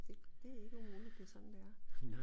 Det ikke umuligt det sådan det er